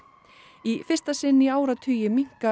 í fyrsta sinn í áratugi minnka